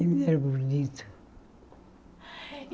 Ele era bonito.